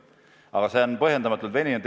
Aga asi on põhjendamatult veninud.